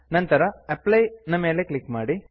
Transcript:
ನಂತರ ಅಪ್ಲೈ ನ ಮೇಲೆ ಕ್ಲಿಕ್ ಮಾಡಿ